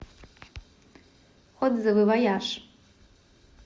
отзывы вояж